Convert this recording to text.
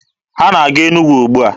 Ha na-aga Enugwu ugbua?